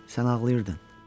Sən ağlayırdın.